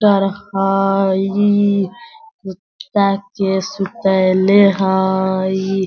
कुत्ता के सुतयले हई।